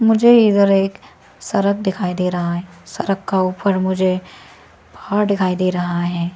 मुझे इधर एक सड़क दिखाई दे रहा है सड़क का ऊपर मुझे पहाड़ दिखाई दे रहा है।